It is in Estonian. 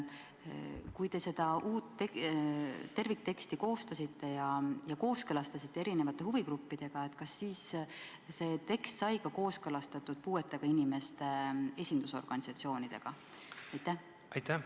Kui te seda tervikteksti koostasite ja kooskõlastasite huvigruppidega, kas siis see tekst sai kooskõlastatud ka puudega inimeste esindusorganisatsioonidega?